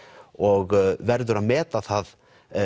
og verður að meta það